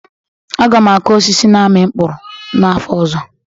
Aga m akụ osisi na-amị mkpụrụ n'afọ ọzọ